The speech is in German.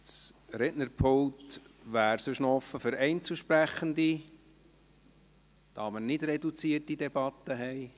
Das Rednerpult stünde noch für Einzelsprechende offen, da wir keine reduzierte Debatte führen.